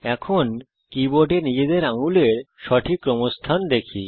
এখন কীবোর্ডে নিজেদের আঙুলের সঠিক ক্রমস্থান দেখি